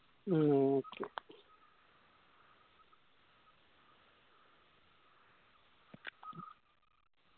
ആ okay